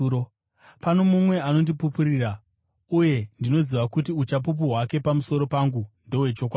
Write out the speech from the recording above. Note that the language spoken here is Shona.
Pano mumwe anondipupurira, uye ndinoziva kuti uchapupu hwake pamusoro pangu ndohwechokwadi.